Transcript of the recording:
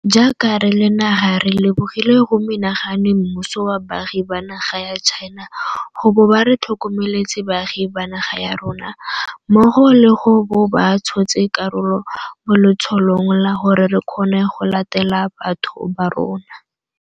Jaaka re le naga re lebogile go menagane mmuso wa baagi ba naga ya China go bo ba re tlhokomeletse baagi ba naga ya rona, mmogo le go bo ba tshotse karolo mo letsholong la gore re kgone go latela batho ba rona.